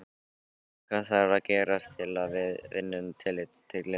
Hvað þarf að gerast til að við vinnum titilinn?